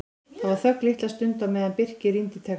Það var þögn litla stund á meðan Birkir rýndi í textann.